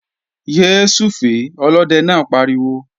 Yé súfèé! Olóde náà pariwo